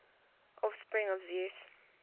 offspring of zeus